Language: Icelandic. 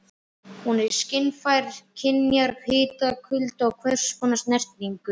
Hún er skynfæri- skynjar hita, kulda og hvers konar snertingu.